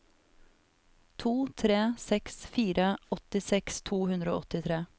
to tre seks fire åttiseks to hundre og åttitre